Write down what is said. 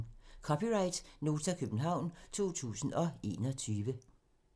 (c) Nota, København 2021